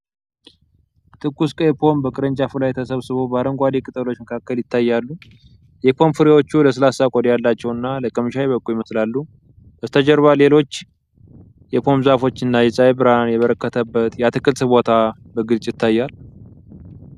ትኩስ፣ ቀይ ፖም በቅርንጫፉ ላይ ተሰብስበው በአረንጓዴ ቅጠሎች መካከል ይታያሉ። የፖም ፍሬዎቹ ለስላሳ ቆዳ ያላቸውና ለቅምሻ የበቁ ይመስላሉ። በስተጀርባ ሌሎች የፖም ዛፎች እና የፀሐይ ብርሃን የበረከተበት የአትክልት ቦታ በግልጽ ይታያል።